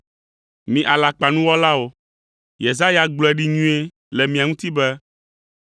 Mi alakpanuwɔlawo! Yesaya gblɔe ɖi nyuie le mia ŋuti be,